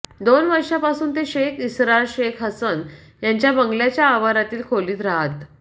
दोन वर्षापासून ते शेख इसरार शेख हसन यांच्या बंगल्याच्या आवारातील खोलीत रहात